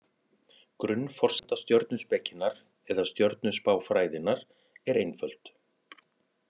Grunnforsenda stjörnuspekinnar, eða stjörnuspáfræðinnar, er einföld.